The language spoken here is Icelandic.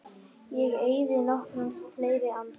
Ég eyði nokkrum fleiri andar